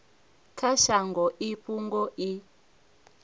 kha shango i fhungo i